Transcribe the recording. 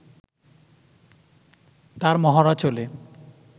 তার মহড়া চলে